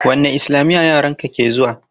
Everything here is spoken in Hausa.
Wanne islamiya yaran ka ke zuwa?